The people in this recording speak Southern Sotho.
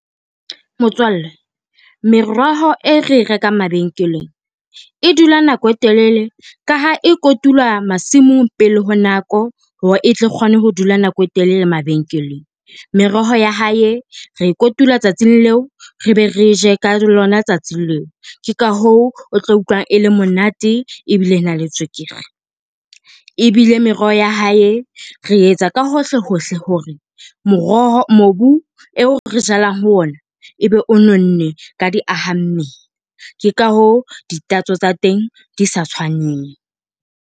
Motswalle meroho e re e rekang mabenkeleng, e dula nako e telele ka ha e kotulwa masimong pele ho nako hore e tle kgone ho dula nako e telele mabenkeleng. Meroho ya hae re kotula tsatsing leo re be re je ka lona tsatsing leo ke ka hoo, o tlo utlwa e le monate ebile na le tswekere. Ebile meroho ya hae re etsa ka hohle hohle hore moroho , mobu eo re jalang ho ona ebe o nonne ka diahammele ke ka hoo ditatso tsa teng di sa tshwaneng.